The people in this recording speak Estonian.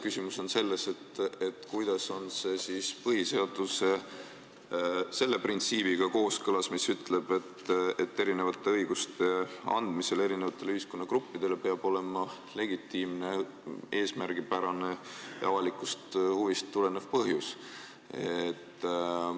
Küsimus on selles, kuidas on see põhiseaduse selle printsiibiga kooskõlas, mis ütleb, et erinevate õiguste andmisel erinevatele ühiskonnagruppidele peab olema legitiimne, eesmärgipärane ja avalikust huvist tulenev põhjus.